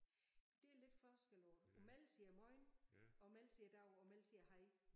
Det er lidt forskel på imellem siger jeg mojn imellem siger jeg dav imellem siger jeg hej